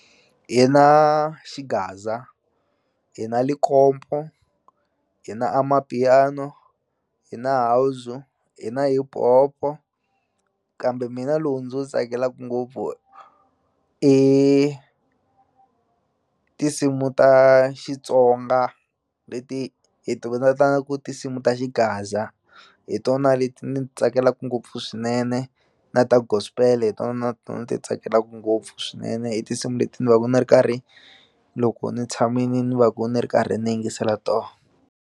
Hi na xigaza hi na lekompo hi na amapiano hi na house hi na hip hop-o kambe mina lowu ndzi wu tsakelaku ngopfu i tinsimu ta Xitsonga leti hi ti ku tinsimu ta xigaza hi tona leti ni ti tsakelaka ngopfu swinene na ta gospel hi tona na tona ni ti tsakelaku ngopfu swinene hi tinsimu leti ni va ku ni ri karhi loko ni tshamini ni va ku ni ri karhi ni yingisela tona.